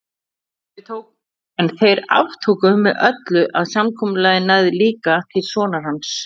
En þeir aftóku með öllu að samkomulagið næði líka til sonar hans.